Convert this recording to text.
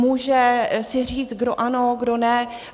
Může si říct, kdo ano, kdo ne.